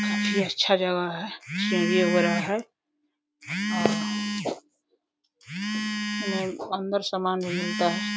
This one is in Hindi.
काफी अच्छा जगह है। सीढ़ियाों है और अंदर सामान भी मिलता है।